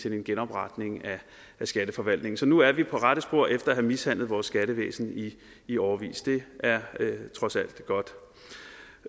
en genopretning af skatteforvaltningen så nu er vi på rette spor efter at have mishandlet vores skattevæsen i årevis det er trods alt godt